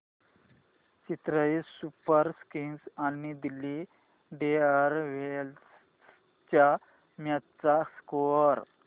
Chennai Super Kings आणि Delhi Daredevils च्या match चा स्कोअर